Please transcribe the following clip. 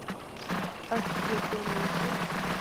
осведомитель